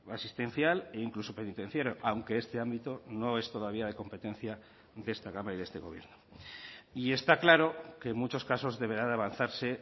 asistencial e incluso penitenciario aunque este ámbito no es todavía de competencia de esta cámara y de este gobierno y está claro que en muchos casos deberá de avanzarse